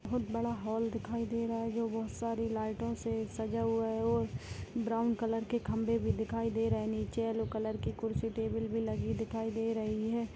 बहुत बड़ा हॉल दिखाई दे रहा है जो बहुत सारी लाईटो से सजा हुआ है और ब्राउन कलर के खंभे भी दिखाई दे रहे है नीचे येल्लो कलर की कुर्सी टेबल भी लगी दिखाई दे रही है।